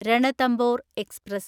Ranthambore express